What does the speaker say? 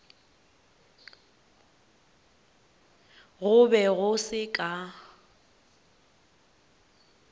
go be go se ka